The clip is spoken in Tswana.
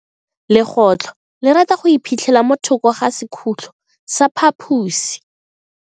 Legotlo le rata go iphitlha mo thoko ga sekhutlo sa phaposi.